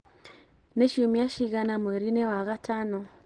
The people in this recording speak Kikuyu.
Nĩ ciumia cigana mweri-inĩ wa gatano?